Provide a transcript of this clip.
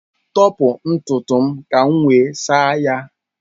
Tọpụ ntutu m ka m wee saa ya.